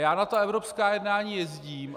Já na ta evropská jednání jezdím.